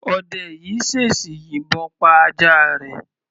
Ọdẹ yìí ṣèṣì yìbọn pa ajá rẹ̀.